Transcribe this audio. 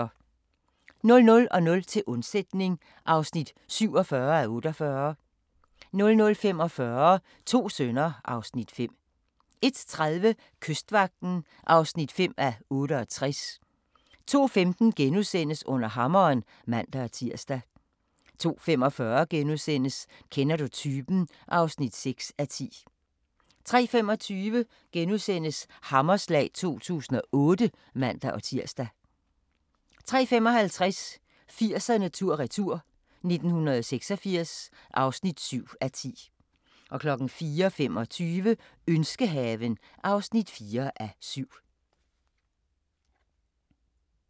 00:00: Til undsætning (47:48) 00:45: To sønner (Afs. 5) 01:30: Kystvagten (5:68) 02:15: Under hammeren *(man-tir) 02:45: Kender du typen? (6:10)* 03:25: Hammerslag 2008 *(man-tir) 03:55: 80'erne tur-retur: 1986 (7:10) 04:25: Ønskehaven (4:7)